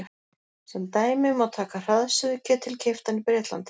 Sem dæmi má taka hraðsuðuketil keyptan í Bretlandi.